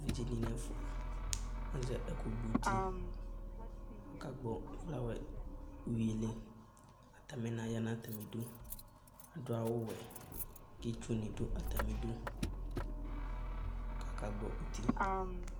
Evidze dɩnɩ ɛfʋa, azɛ ɛkʋgbɔ uti Agagbɔ ɛflawɛd uyui li Atanɩna ya nʋ atamɩdu Adʋ awʋwɛ kʋ itsunɩ dʋ atamɩdu kʋ akagbɔ uti